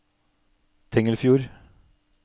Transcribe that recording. Tengelfjord